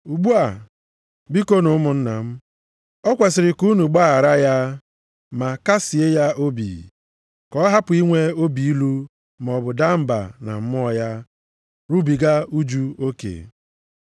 Ugbu a, bikonu ụmụnna m, o kwesiri ka unu gbaghara ya, ma kasịe ya obi, ka ọ hapụ inwe obi ilu maọbụ daa mba na mmụọ ya, rubiga ụjụ oke.